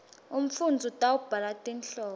umfundzi utawubhala tinhlobo